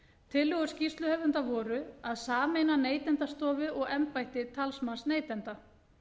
tillögur skýrsluhöfunda voru að sameina neytendastofu og embætti talsmanns neytenda